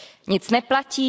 Nic neplatí.